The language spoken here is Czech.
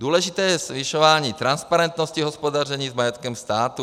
Důležité je zvyšování transparentnosti hospodaření s majetkem státu.